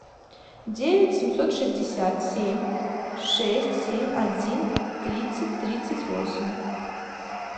девять семьсот шестьдесят семь шесть семь один тридцать тридцать восемь